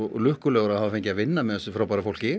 lukkulegur að hafa fengið að vinna með þessu fólki